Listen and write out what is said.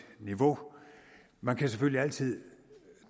niveau man kan selvfølgelig altid